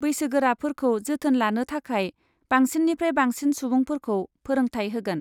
बैसोगोराफोरखौ जोथोन लानो थाखाय बांसिननिफ्राय बांसिन सुबुंफोरखौ फोरोंथाय होगोन।